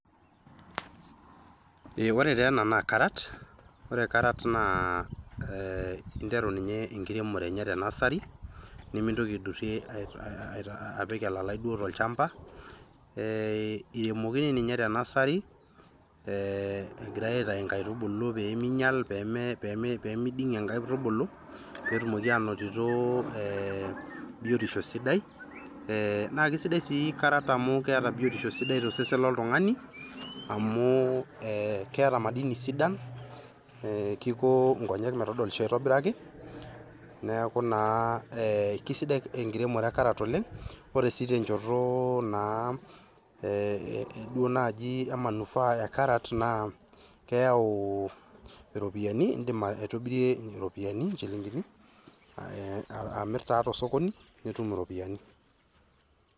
Ee ore taa naa carrot ore carrot naa interu ninye enkiremore enye te nursery, nemintoki aidurrie apik elalai duo tolchmba ee iremokini ninye te nursery ee egirai aitayu inkaitubulu pee miding'ie inkaitubulu netumoki anotito biotisho sidai naa sidai sii [cs[carrot amu keeta biotisho sidai tosesen loltung'ani amu ee keeta madini sidan, kiko nkonyek metodolisho aitobiraki neeku naa ee kesidai enkiremore e carrot oleng' . Ore sii tenchoto e manufaa e carrot naa iropiyiani iindim aitobirie iropiyiani, inchilingini amirr taa tosokoni, nitum iropiyiani.